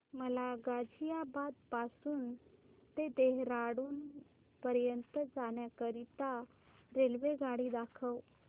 मला गाझियाबाद पासून ते देहराडून पर्यंत जाण्या करीता रेल्वेगाडी दाखवा